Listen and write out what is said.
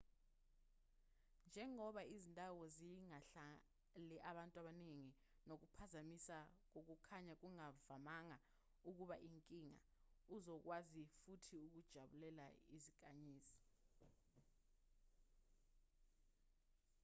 njengoba izindawo zingahlali abantu abaningi nokuphazamisa kokukhanya kungavamanga ukuba inkinga uzokwazi futhi ukujabulela izinkanyezi